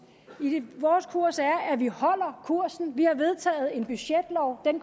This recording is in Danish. vores kurs er at vi holder kursen vi har vedtaget en budgetlov den